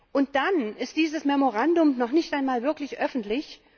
Und dann ist dieses Memorandum noch nicht einmal wirklich öffentlich.